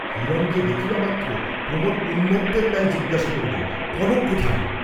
হিরণকে দেখিবামাত্র প্রমোদ উন্মত্তের ন্যায় জিজ্ঞাসা করিলেন, কনক কোথায়?